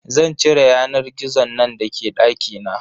Zan cire yanar gizon nan da ke dakina.